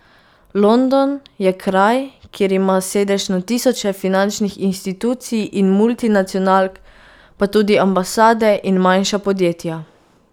London je kraj, kjer ima sedež na tisoče finančnih inštitucij in multinacionalk, pa tudi ambasade in manjša podjetja.